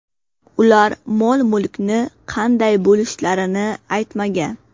Ular mol-mulkni qanday bo‘lishlarini aytmagan.